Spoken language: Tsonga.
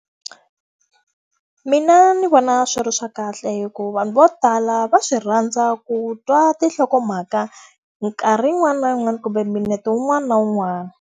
Mina ndzi vona swi ri swa kahle hikuva vanhu vo tala va swi rhandza ku twa tinhlokomhaka nkarhi yin'wana na yin'wana kumbe minete wun'wana na wun'wana.